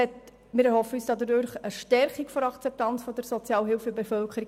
Wir erhoffen uns dadurch eine Stärkung der Akzeptanz der Sozialhilfe in der Bevölkerung.